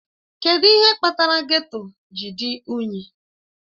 Kedụ ihe kpatara geto ji dị unyi?